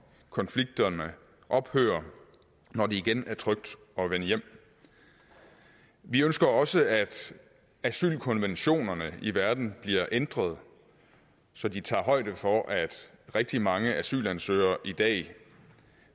konflikterne ophører og når det igen er trygt at vende hjem vi ønsker også at asylkonventionerne i verden bliver ændret så de tager højde for at rigtig mange asylansøgere i dag